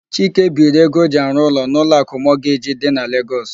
Chike biiri ego o ji arụ ụlọ n'Ụlọakụ Mọgeji dị na Legọs.